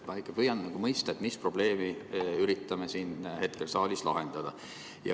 Ma ikka püüan mõista, mis probleemi me üritame hetkel siin saalis lahendada.